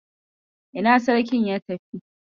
Ina Sarkin ya tafi?